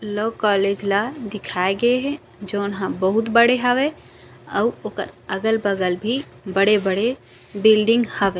Law college ला दिखाय गए है जोन हा बहुत बड़े हवे अउ ओकर अगल- बगल भी बड़े- बड़े बिल्डिंग हवे।